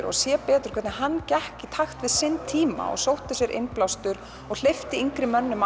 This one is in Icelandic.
og sé hvernig hann gekk í takt við tímann og sótti sér innblástur og hleypti yngri mönnum